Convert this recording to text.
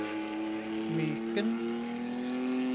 Myken